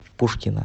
пушкина